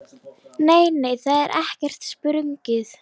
Nei, nei, það er ekkert sprungið.